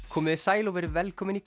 komiði sæl og verið velkomin í